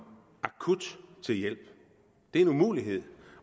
til hjælp det er en umulighed